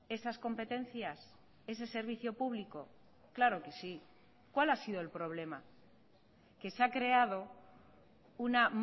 esas competencias ese servicio público claro que sí cuál ha sido el problema que se ha creado una